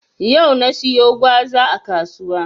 Yau na siyo gwaza a kasuwa.